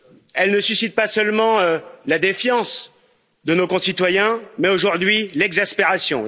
Elle ne suscite pas seulement la défiance de nos concitoyens, mais aujourd'hui, l'exaspération.